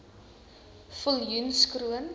viljoenskroon